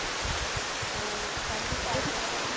அஹ் கண்டிப்பா அடுத்த தடவை